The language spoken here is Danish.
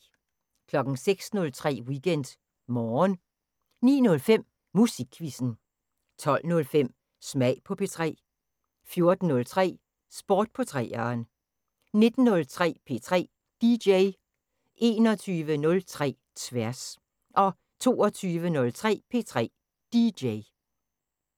06:03: WeekendMorgen 09:05: Musikquizzen 12:05: Smag på P3 14:03: Sport på 3'eren 19:03: P3 DJ 21:03: Tværs 22:03: P3 DJ